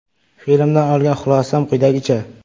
Filmdan olgan xulosam quyidagicha.